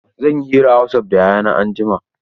Zan yi hira a wasaf da Yayana anjima.